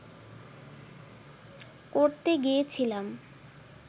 করতে গিয়েছিলাম